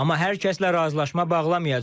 Amma hər kəslə razılaşma bağlamayacağıq.